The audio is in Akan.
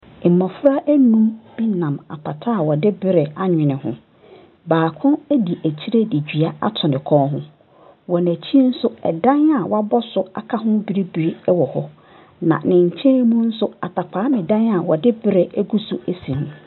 Mmɔfra nnum bi nam apata a wɔde berɛ anwene ho. Baako di akyire de dua ato ne kɔn ho. Wɔ n'akyi nso, dan a wɔabɔ so aka ho bibire wɔ hɔ, na ne nkyɛn mu nso, Atakwame dan a wɔde berɛ agu so si ho.